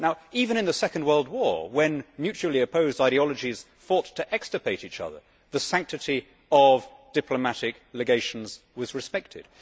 Even in the Second World War, when mutually opposed ideologies fought to extirpate each other, the sanctity of diplomatic legations was respected.